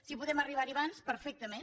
si podem arribar hi abans perfectament